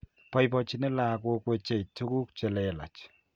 Boibochini lakoik wechei tukuk chilelach.